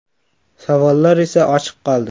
Savollar esa ochiq qoldi.